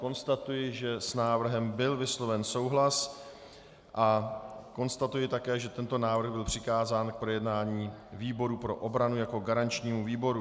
Konstatuji, že s návrhem byl vysloven souhlas, a konstatuji také, že tento návrh byl přikázán k projednání výboru pro obranu jako garančnímu výboru.